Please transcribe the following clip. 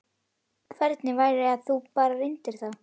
Hvernig væri að þú bara reyndir það?